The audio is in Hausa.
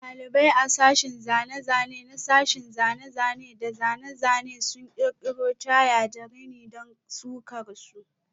Dalibai a sashin zane-zane na sashen zane-zane da zane-zane sun kirkiro Tie da rini don sukar su.